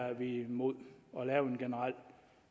er vi imod at lave en generel